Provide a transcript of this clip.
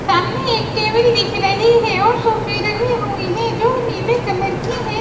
सामने एक टेबल दिख रही है और सोफे रही हुई है जो नीले कलर की हैं।